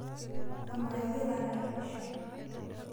Amaa iyiolo atalepisho?